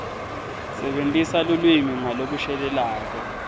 sebentisa lulwimi ngalokushelelako